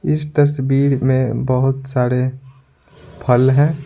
इस तस्वीर में बहुत सारे फल हैं।